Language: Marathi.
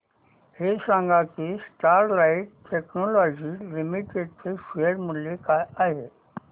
हे सांगा की स्टरलाइट टेक्नोलॉजीज लिमिटेड चे शेअर मूल्य काय आहे